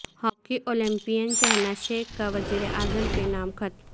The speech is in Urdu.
ہاکی اولمپیئن شہناز شیخ کا وزیراعظم کے نام خط